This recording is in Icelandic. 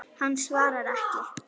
Hann svarar ekki.